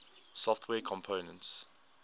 software components